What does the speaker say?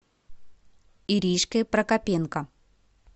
иришкой прокопенко